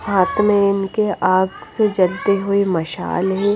हाथ में इनके आग से जलती हुई मशाल है।